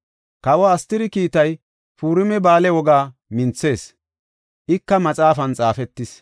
Kawe Astiri kiitay Purima Ba7aale wogaa minthis; ika maxaafan xaafetis.